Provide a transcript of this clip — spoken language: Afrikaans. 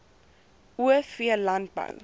o v landbou